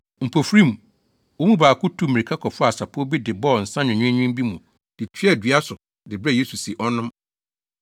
Mpofirim, wɔn mu baako tuu mmirika kɔfaa sapɔw bi de bɔɔ nsa nwenweenwen bi mu de tuaa dua bi so de brɛɛ Yesu sɛ ɔnnom.